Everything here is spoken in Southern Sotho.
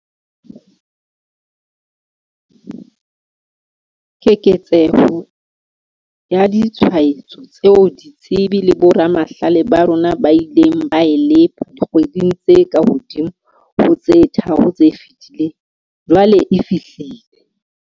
Keketseho ya ditshwaetso tseo ditsebi le boramahlale ba rona ba ileng ba e lepa dikgweding tse kahodimo ho tse tharo tse fetileng, jwale e fihlile.